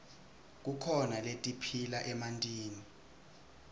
kukhona letiphila emantini